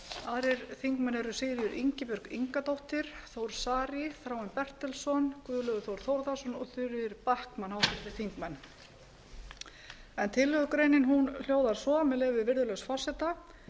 aðrir þingmenn eru sigríður ingibjörg ingadóttir þór saari þráinn bertelsson guðlaugur þór þórðarson og þuríður backman tillögugreinin hljóðar svo með leyfi virðulegs forseta